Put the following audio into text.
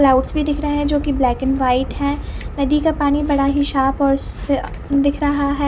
Cloud दिख रहा है जो की ब्लैक एंड वाइट है नदी का पानी बड़ा ही साफ़ और दिख रहा है।